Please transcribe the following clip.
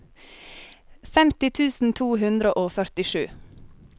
femti tusen to hundre og førtisju